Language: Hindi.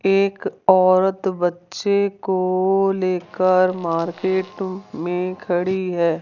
एक औरत बच्चे को लेकर मार्केट में खड़ी है।